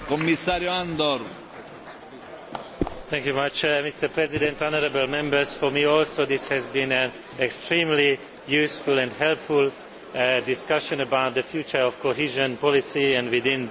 Mr President, for me, too, this has been an extremely useful and helpful discussion about the future of cohesion policy and, within that, the future of the European Social Fund.